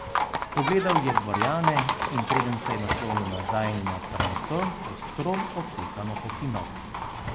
Pogledal je dvorjane in preden se je naslonil nazaj na prestol, ostro, odsekano pokimal.